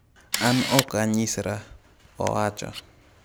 "An ok anyisra," owacho."